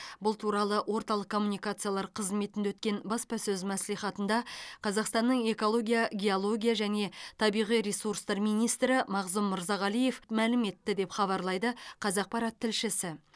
бұл туралы орталық коммуникациялар қызметінде өткен баспасөз мәслихатында қазақстанның экология геология және табиғи ресурстар министрі мағзұм мырзағалиев мәлім етті деп хабарлайды қазақпарат тілшісі